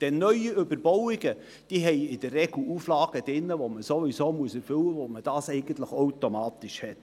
Denn neue Überbauungen haben in der Regel Auflagen drin, die man sowieso erfüllen muss, bei denen man das eigentlich automatisch hat.